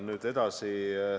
Nüüd edasi.